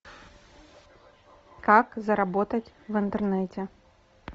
как заработать в интернете